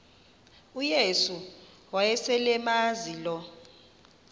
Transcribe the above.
uyesu wayeselemazi lo